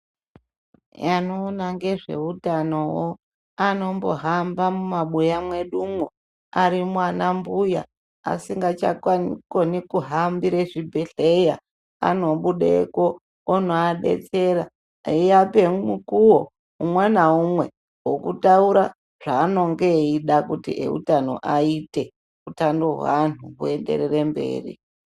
Anoona ngezveutanowo anombohamba mumabuya mwedumwo arimwo anambuya asingachakoni kuhambire zvibhedhleya anobudepo onoadetsera eiape mukuwo umwe naumwe wokutaura zveanenge eida kuti eutano aite utano hweantu hwoenderere mberi.